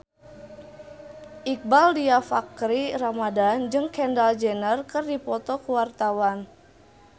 Iqbaal Dhiafakhri Ramadhan jeung Kendall Jenner keur dipoto ku wartawan